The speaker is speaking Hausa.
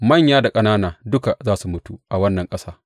Manya da ƙanana duka za su mutu a wannan ƙasa.